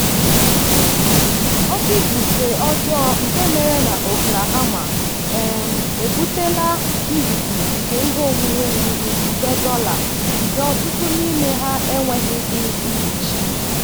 oke ifufe ọjọọ nke mere na oklahoma um ebutela mbibi nke ihe onwunwe ruru nde dollar nke ọtụtụ n'ime ha enweghịdị mkpuchi.